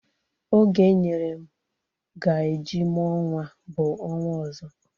Oge enyere m ga eji mụọ nwa bụ ọnwa ọzọ